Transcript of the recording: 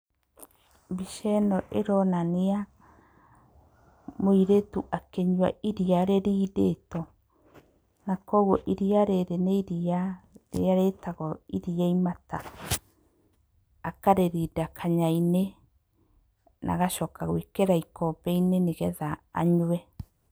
Mbica ĩno ĩronania mũirĩtu akĩnyua iriya rĩrindĩtwo. Na koguo iriya rĩrĩ nĩrĩrĩa rĩtagwo iriya imata. Akarĩrinda kanyainĩ na agacoka gwĩkĩra ikombeinĩ nĩgetha anyue.